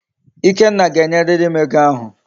Ikenna ga enyiririm ego ahu